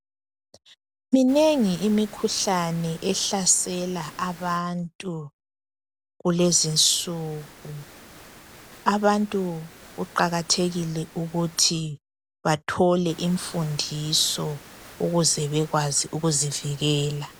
Minengi imikhuhlane ehlasela abantu kulezinsuku. Abantu kuqakathekile ukuthi bathole imfundiso ukuze bekwazi ukuzivikela.